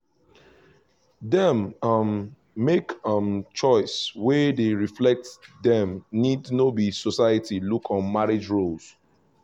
them um make um choices wey dey reflect them needs no be society look on marriage roles